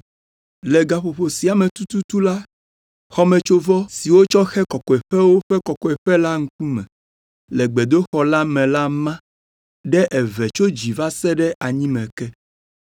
Le gaƒoƒo sia me tututu la, xɔmetsovɔ, si wotsɔ xe Kɔkɔeƒewo ƒe Kɔkɔeƒe la ŋkume le gbedoxɔ la me la ma ɖe eve tso dzi va se ɖe anyime ke.